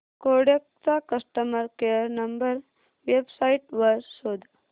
Kodak चा customer care number website वर शोध